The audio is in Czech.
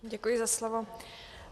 Děkuji za slovo.